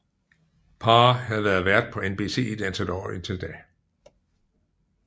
Paar havde været vært på NBC i et antal år inden da